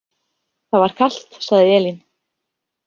Það var kalt, sagði Elín.